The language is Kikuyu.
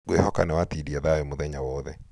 ngwĩhoka nĩ watindia thayũ mũthenya wothe.